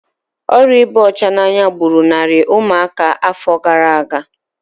Ọrịa ịba ọcha n'anya gburu narị ụmụaka afọ gara aga